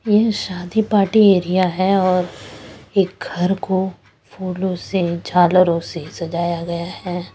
यह शादी party area है और एक घर को फूलों से झालरों से सजाया गया है।